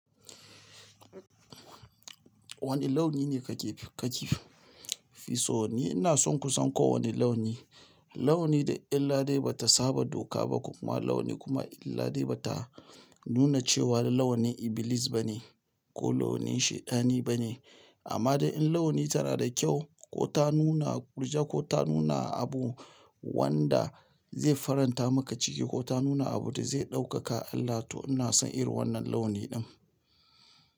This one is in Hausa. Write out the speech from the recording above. Wane launi ne ka ke ka ke fi so? Ni ina son kusan kowane launi. Launi da in ladi ba ta saba doka ba ko kuma launi kuma in ladi ba ta nuna cewa launi ibilis ba ne ko launi shaidani ba ne. Amma da in launi tana da kyau ko ta nuna ƙurja ko ta nuna abu wanda zai faranta maka ciki ko ta nuna abu da zai ɗaukaka Allah to ina son irin wannan launi ɗin.